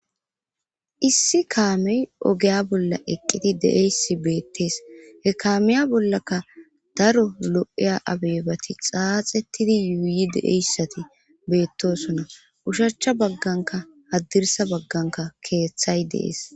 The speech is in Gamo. issi kaamey ogeya bolla eqqidi deeysi beettees he kaamiya bollaka daro lo7eya abeebati xaaxettidi yuuyi deeyssati beettosona ushachcha bagganka haddirsa bagganka keeththay dees